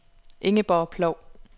Ingeborg Ploug